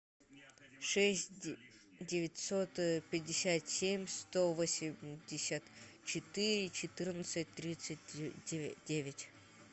шесть девятьсот пятьдесят семь сто восемьдесят четыре четырнадцать тридцать девять